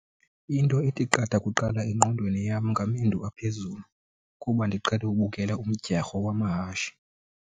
Into ethi qatha kuqala engqondweni yam ngamendu aphezulu kuba ndiqhele ubukela umdyarho wamahashe.